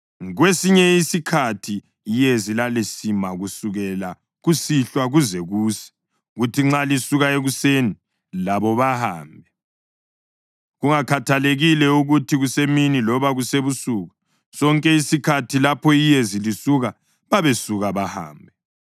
Kwesinye isikhathi iyezi lalisima kusukela kusihlwa kuze kuse, kuthi nxa lisuka ekuseni, labo bahambe. Kungakhathalekile ukuthi kusemini loba kusebusuku, sonke isikhathi lapho iyezi lisuka babesuka bahambe.